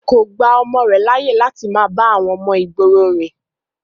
kò gba ọmọ rẹ̀ láyè láti máa bá àwọn ọmọ ìgboro rìn